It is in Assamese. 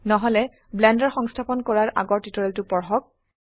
নহলে ব্লেন্ডাৰ সংস্থাপন কৰাৰআগৰ টিউটোৰিয়েলটো পঢ়ক